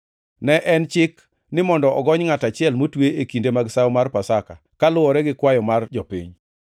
Ne en chik ni mondo ogony ngʼat achiel motwe e kinde mag sawo mar Pasaka kaluwore gi kwayo mar jopiny.